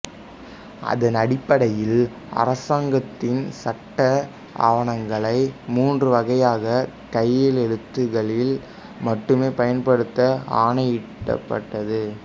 அதனடிப்படையில் அரசாங்கத்தின் சட்ட ஆவணங்களையும் மூன்று வகையாக கையெழுத்துக்களில் மட்டுமே பயன்படுத்த ஆணையிடப்பட்டது